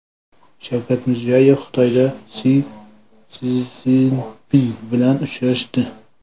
Shavkat Mirziyoyev Xitoyda Si Szinpin bilan uchrashdi.